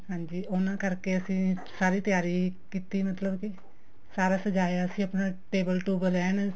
ਹਾਂਜੀ ਉਹਨਾ ਕਰਕੇ ਅਸੀਂ ਸਾਰੀ ਤਿਆਰੀ ਕੀਤੀ ਮਤਲਬ ਕੀ ਸਾਰਾ ਸਜਾਇਆ ਸੀ ਆਪਣਾ table ਟੁਬਲ ਐਨ